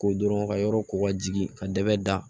Ko dɔrɔn ka yɔrɔ ko ka jigin ka dɛgɛ da